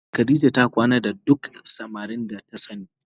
A zahiri Khadijah ta kwana da duk samarin da ta sani